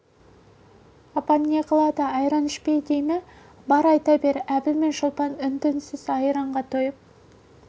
апаң не қылады айран ішпе дей ме бар айта бер әбіл мен шолпан үн-түнсіз айранға тойып